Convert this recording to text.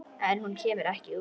En hún kemur ekki út.